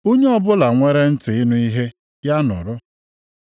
Onye ọbụla nwere ntị ịnụ ihe, ya nụrụ.